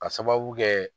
Ka sababu kɛ